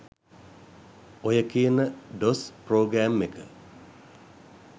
ඔය කියන DOS program එක